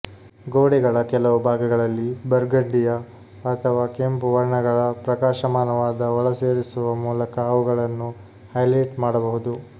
ಗೋಡೆಗಳ ಕೆಲವು ಭಾಗಗಳಲ್ಲಿ ಬರ್ಗಂಡಿಯ ಅಥವಾ ಕೆಂಪು ವರ್ಣಗಳ ಪ್ರಕಾಶಮಾನವಾದ ಒಳಸೇರಿಸುವ ಮೂಲಕ ಅವುಗಳನ್ನು ಹೈಲೈಟ್ ಮಾಡಬಹುದು